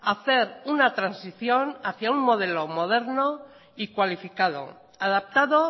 hacer una transición hacia un modelo moderno y cualificado adaptado